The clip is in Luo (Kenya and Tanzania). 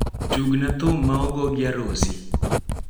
Tug na thum ma ogo gi Arosi